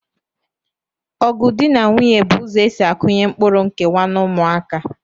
Ọgụ dị na nwunye bụ ụzọ e si akụnye mkpụrụ nkewa n'ụmụaka